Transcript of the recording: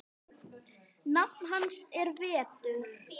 Nafn hans er Vetur.